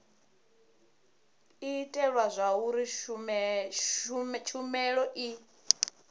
u itela zwauri tshumelo i